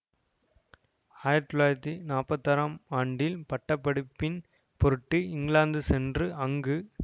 ஆயிரத்தி தொள்ளாயிரத்தி நாற்பத்தி ஆறாம் ஆண்டில் பட்டப்படிப்பின் பொருட்டு இங்கிலாந்து சென்று அங்கு